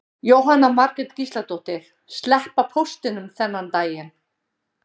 Jóhanna Margrét Gísladóttir: Sleppa póstinum þennan daginn?